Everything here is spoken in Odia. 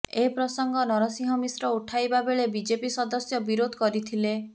ଏ ପ୍ରସଙ୍ଗ ନରସିଂହ ମିଶ୍ର ଉଠାଇବାବେଳେ ବିଜେପି ସଦସ୍ୟ ବିରୋଧ କରିଥିଲେ